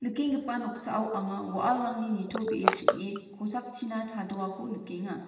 nikenggipa noksao anga wa·alrangni nitobee ching·e kosakchina chadoako nikenga.